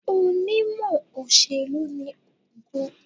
Onímọ̀ òṣèlú ni Ògo.